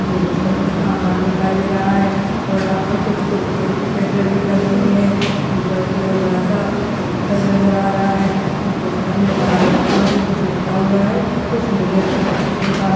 Table पर कुछ सामान दिखाई दे रहा है और यहां पर कुछ कुरकुरो की पैकेट भी टंगी हुई है ऊपर की और बड़ा सा पोस्टर नज़र आ रहा है पोस्टर में लाल अक्षर में कुछ लिखा है कुछ नीले अक्षरो से लिखा है।